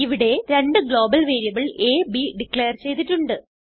ഇവിടെ രണ്ട് global variable A B declare ചെയ്തിട്ടുണ്ട്